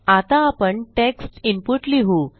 आता आपण text input लिहू